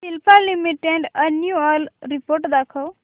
Cipla limited annual report दाखव